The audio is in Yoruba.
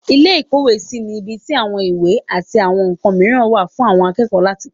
ilé ìkówèésí ni ibi tí àwọn ìwé àti àwọn ǹkan mìíràn wà fún àwọn akẹ́kọ̀ọ́ láti kà.